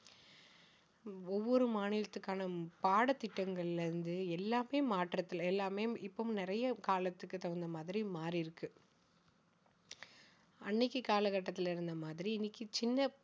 ஒவ்வொரு மாநிலத்துக்கான பாடத்திட்டங்கள்ல இருந்து எல்லாமே மாற்றத்தில எல்லாமே இப்ப நிறைய காலத்துக்கு தகுந்த மாதிரி மாறியிருக்கு அன்னைக்கு காலகட்டத்தில இருந்த மாதிரி இன்னைக்கு சின்ன